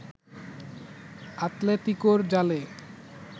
আতলেতিকোর জালে